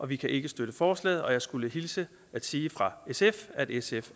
vi kan ikke støtte forslaget og jeg skulle hilse og sige fra sf at sf